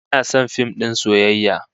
Ina son fim din soyayya